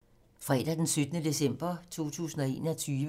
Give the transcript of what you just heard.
Fredag d. 17. december 2021